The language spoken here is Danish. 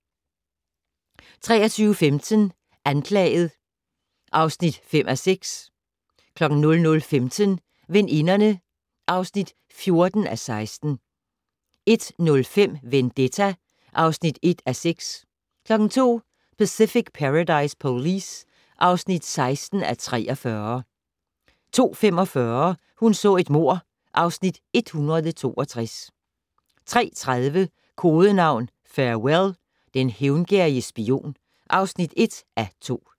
23:15: Anklaget (5:6) 00:15: Veninderne (14:16) 01:05: Vendetta (1:6) 02:00: Pacific Paradise Police (16:43) 02:45: Hun så et mord (Afs. 162) 03:30: Kodenavn Farewell - Den hævngerrige spion (1:2)